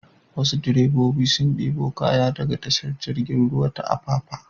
Wasu direbobi sun ɗebo kaya daga tashar jirgin ruwa ta Apapa.